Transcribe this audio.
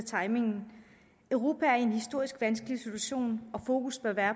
timingen europa er i en historisk vanskelig situation og fokus bør være